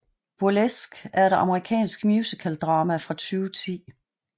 Burlesque er et amerikansk musikaldrama fra 2010